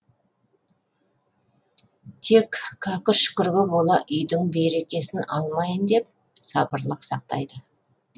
тек кәкір шүкірге бола үйдің берекесін алмайын деп сабырлық сақтайды